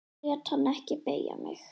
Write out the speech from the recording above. Ég lét hann ekki beygja mig.